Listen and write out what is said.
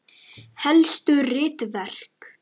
Helstu ritverk